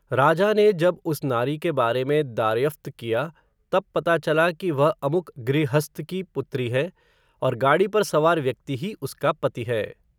राजा ने जब उस नारी के बारे में दार्यफ़्त किया, तब पता चला, कि वह अमुक गृहस्थ की पुत्री है, और गाड़ी पर सवार व्यक्ति ही उसका पति है